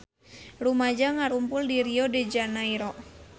Rumaja ngarumpul di Rio de Janairo